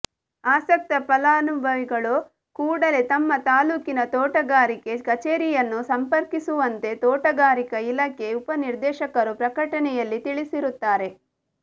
ಆಸಕ್ತ ಫಲಾನುಭವಿಗಳು ಕೂಡಲೇ ತಮ್ಮ ತಾಲೂಕಿನ ತೋಟಗಾರಿಕೆ ಕಛೇರಿಯನ್ನು ಸಂಪರ್ಕಿಸುವಂತೆ ತೋಟಗಾರಿಕಾ ಇಲಾಖೆ ಉಪನಿರ್ದೇಶಕರು ಪ್ರಕಟಣೆಯಲ್ಲಿ ತಿಳಿಸಿರುತ್ತಾರೆ